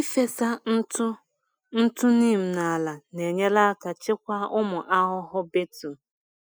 Ịfesa ntụ ntụ neem n’ala na-enyere aka chịkwaa ụmụ ahụhụ beetle